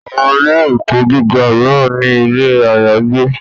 Àwọn ilé - ẹ̀kọ́ gíga míràn ní ilé àyágbé